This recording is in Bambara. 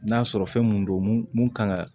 N'a sɔrɔ fɛn mun don mun mun kan ka